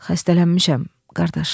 Xəstələnmişəm, qardaş."